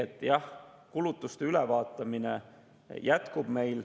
Ehk jah, kulutuste ülevaatamine jätkub.